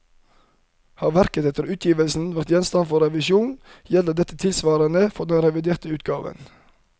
Har verket etter utgivelsen vært gjenstand for revisjon, gjelder dette tilsvarende for den reviderte utgaven.